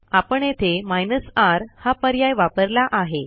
आपण येथे हायफेन र हा पर्याय वापरला आहे